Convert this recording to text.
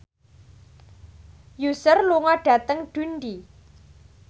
Usher lunga dhateng Dundee